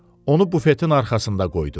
Onu bufetin arxasında qoydu.